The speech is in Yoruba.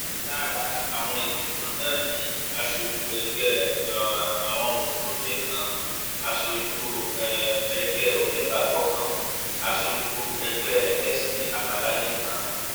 lára àwọn ìgbìmọ náà ni aṣojú ẹgbẹ um àwọn mùsùlùmí kan aṣojú um ẹgbẹ onígbàgbọ kan aṣojú ẹgbẹ ẹlẹsìn àbáláyé kan